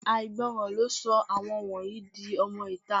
Àìgbọràn ló sọ àwọn wọ̀nyí di ọmọ-ìta